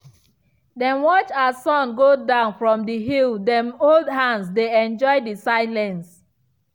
dem watch as sun go down from the hill dem hold hands dey enjoy the silence.